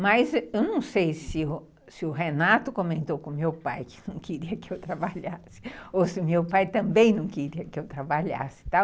Mas eu não sei se se o Renato comentou com o meu pai que não queria que eu trabalhasse, ou se o meu pai também não queria que eu trabalhasse.